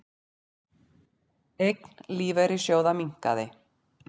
Eign lífeyrissjóða minnkaði